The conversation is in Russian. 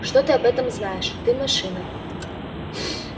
что ты об этом знаешь ты машина